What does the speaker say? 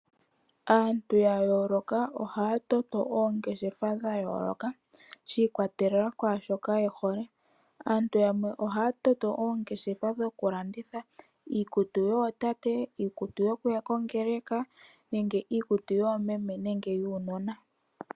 Aantu ya yooloka ohaya toto oongeshefa dha yooloka shi ikwatelela kwashoka yehole. Aantu yamwe ohaya toto oongeshefa dhoku landitha iikutu yootate, iikutu yokuya kongeleka nenge iikutu yoomeme nenge yuunona.